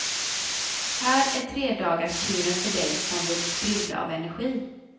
Här är tredagarskuren för dig som vill sprudla av energi.